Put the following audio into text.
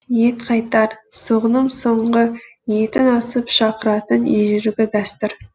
ет қайтар соғымның соңғы етін асып шақыратын ежелгі дәстүр